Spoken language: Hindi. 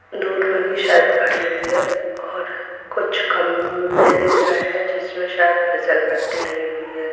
दूर मे भी शायद खड़ी हुई है और कुछ खं-अ -म -बे दिख रहे है जिसमें शायद फिसल पट्टी लगी हुई है।